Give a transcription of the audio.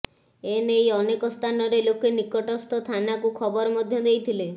ଏ ନେଇ ଅନେକ ସ୍ଥାନରେ ଲୋକେ ନିକଟସ୍ଥ ଥାନାକୁ ଖବର ମଧ୍ୟ ଦେଇଥିଲେ